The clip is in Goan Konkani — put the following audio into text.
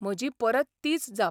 म्हजी परत तीच जाप.